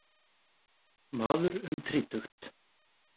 Maður um þrítugt.